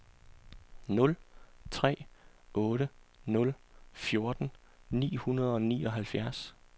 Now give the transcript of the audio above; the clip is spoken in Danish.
nul tre otte nul fjorten ni hundrede og nioghalvfjerds